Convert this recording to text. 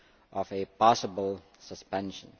of a possible suspension.